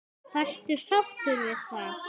Varstu sáttur við það?